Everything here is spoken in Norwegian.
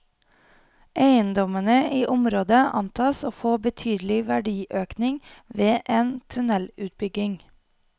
Eiendommene i området antas å få betydelig verdiøkning ved en tunnelutbygging.